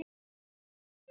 lömb mín.